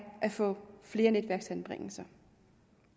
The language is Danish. at få flere netværksanbringelser